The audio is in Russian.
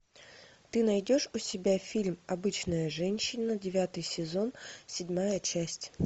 ты найдешь у себя фильм обычная женщина девятый сезон седьмая часть